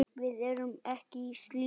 Við erum ekki í slíku.